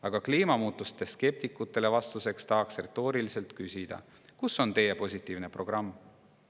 Aga kliimamuutuste skeptikutele vastuseks tahaksin retooriliselt küsida: kus on teie positiivne programm?